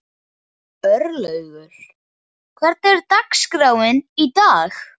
Örlaugur, hvernig er dagskráin í dag?